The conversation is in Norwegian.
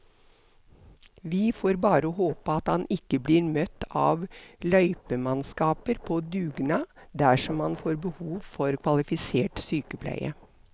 Vi får bare håpe at han ikke blir møtt av løypemannskaper på dugnad dersom han får behov for kvalifisert sykepleie.